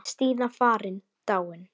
Stína farin, dáin.